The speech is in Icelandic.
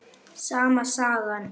Sama sagan.